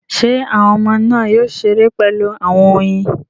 Ṣé àwọn ọmọ náà yóò ṣeré pẹ̀lú àwọn oyin?